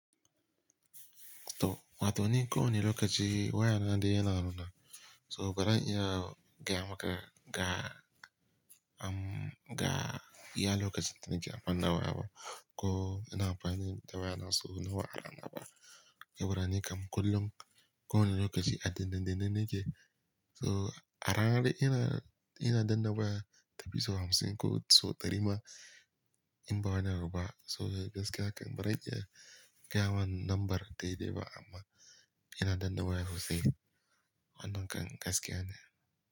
To wato ni ko wani lokaci waya na dai yana hannu na. So baran iya gaya maka ga, um, ga iya lokacin da nake amfani da waya ba. Ko yana amfani da waya na so nawa a ranna ba. Saboda ni kam kullum ko wane lokaci a danne-danne nike. So a ranar da ina, ina danna waya ta fi isau hamsin ko sau ɗari ma in ba wani abu ba. So gaskiya kan baran iya gayamaka lambar dai-dai ba amma ina danna waya sosai wannan kan gaskiya ne.